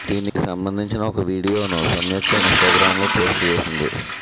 దీనికి సంబంధించిన ఒక వీడియోను సంయుక్త ఇన్ స్టాగ్రామ్ లో పోస్ట్ చేసింది